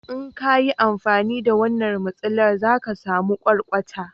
in kayi amfani da wannan masilar za ki samu kwarkwata